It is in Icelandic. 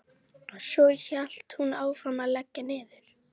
Svo hélt hún áfram að leggja niður.